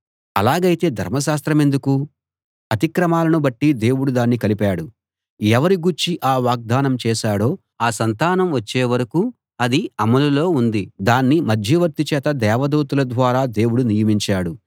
అలాగైతే ధర్మశాస్త్రమెందుకు అతిక్రమాలను బట్టి దేవుడు దాన్ని కలిపాడు ఎవరి గూర్చి ఆ వాగ్దానం చేశాడో ఆ సంతానం వచ్చే వరకూ అది అమలులో ఉంది దాన్ని మధ్యవర్తి చేత దేవదూతల ద్వారా దేవుడు నియమించాడు